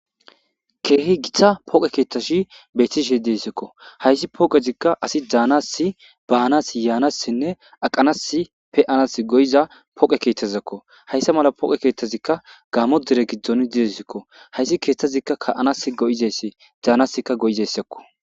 Keehi gitta poqe keethashi betishe dessikko hayssi pooqezika asi daanasi baanas yaanassinne aqanas pe-anas go'iza poqe kethazeko hayssa mala pooqe keeththazikka gammo dire giddon didesikko hayssi kethazikka ka'anas go'izeyssi daanasika go'izeysako